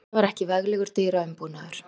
Þetta var ekki veglegur dyraumbúnaður.